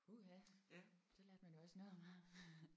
Puha så lærte man jo også noget om ham